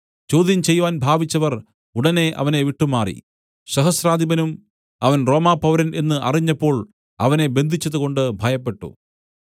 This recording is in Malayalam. ചോദ്യം ചെയ്‌വാൻ ഭാവിച്ചവർ ഉടനെ അവനെ വിട്ടുമാറി സഹസ്രാധിപനും അവൻ റോമാപൗരൻ എന്ന് അറിഞ്ഞപ്പോൾ അവനെ ബന്ധിച്ചതുകൊണ്ട് ഭയപ്പെട്ടു